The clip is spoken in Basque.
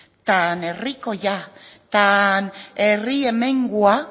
tan herrikoia herri hemengoa